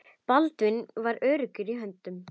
Baldvin var í öruggum höndum.